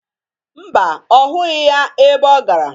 Mba, ọ hụghị ya ebe ọ gara.